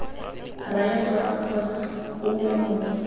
raya dora kgotsa ouma mongwe